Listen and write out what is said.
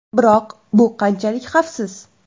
Biroq bu qanchalik xavfsiz?